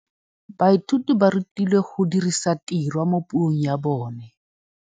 Baithuti ba rutilwe go dirisa tirwa mo puong ya bone.